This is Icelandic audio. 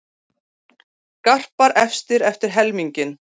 Garpar efstir eftir helminginn